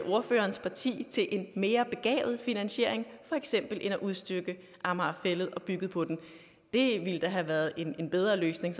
ordførerens parti til en mere begavet finansiering for eksempel at udstykke amager fælled og bygge på den det ville da have været en bedre løsning